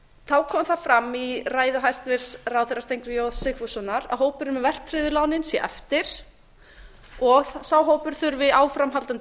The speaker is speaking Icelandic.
þá kom það fram í ræðu hæstvirts ráðherra steingríms j sigfússonar að hópurinn með verðtryggðu lánin sé eftir og sá hópur þurfi áframhaldandi